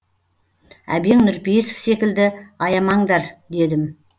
әбең нұрпейісов секілді аямаңдар дедім